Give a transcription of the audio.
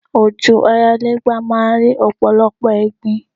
Ojú ayálégbé máa ń rí ọ̀pọ̀lọpọ̀ ẹ̀gbin